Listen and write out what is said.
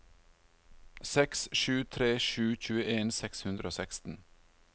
seks sju tre sju tjueen seks hundre og seksten